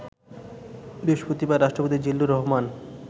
বৃহস্পতিবার রাষ্ট্রপতি জিল্লুর রহমান